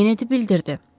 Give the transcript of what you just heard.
Kenedi bildirdi.